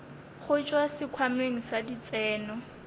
go tšwa sekhwameng sa ditseno